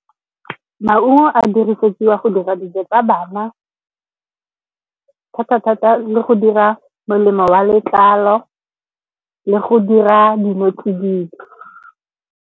Maungo a dirisetswa go dira dijo tsa bana, thata-thata, le go dira melemo wa letlalo le go dira dilo tse dino tsididi.